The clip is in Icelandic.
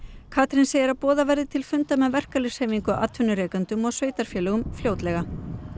Katrín segir að boðað verði til funda með verkalýðshreyfingu atvinnurekendum og sveitarfélögum fljótlega